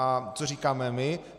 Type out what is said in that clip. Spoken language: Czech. A co říkáme my?